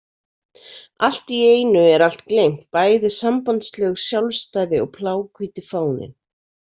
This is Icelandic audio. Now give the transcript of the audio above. Allt í einu er allt gleymt, bæði sambandslög, sjálfstæði og bláhvíti fáninn.